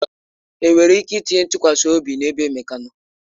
Enwere ike itinye ịtụkwasị obi ebe Emeka nọ?